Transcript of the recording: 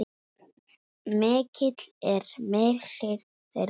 Mikill er missir þeirra.